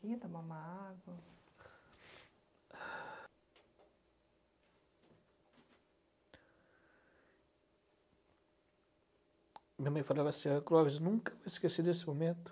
vamos tomar uma água? Minha mãe falava assim, a Clóvis nunca esquecer desse momento.